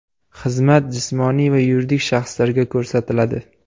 Xizmat jismoniy va yuridik shaxslarga ko‘rsatiladi.